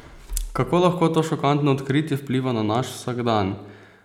Kako lahko to šokantno odkritje vpliva na naš vsakdan?